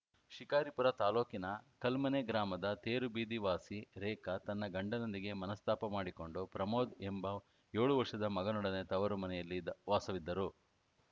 ಶಿಕಾರಿಪುರ ತಾಲೂಕಿನ ಕಲ್ಮನೆ ಗ್ರಾಮದ ತೇರುಬೀದಿ ವಾಸಿ ರೇಖಾ ತನ್ನ ಗಂಡನೊಂದಿಗೆ ಮನಸ್ತಾಪ ಮಾಡಿಕೊಂಡು ಪ್ರಮೋದ ಎಂಬ ಏಳು ವರ್ಷದ ಮಗನೊಡನೆ ತವರು ಮನೆಯಲ್ಲಿ ವಾಸವಿದ್ದರು